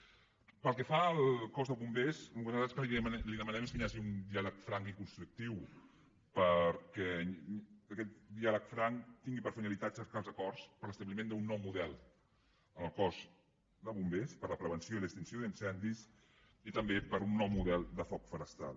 pel que fa al cos de bombers nosaltres el que li demanem és que hi hagi un diàleg franc i constructiu perquè aquest diàleg franc tingui per finalitat cercar els acords per a l’establiment d’un nou model en el cos de bombers per a la prevenció i l’extinció d’incendis i també per un nou model de foc forestal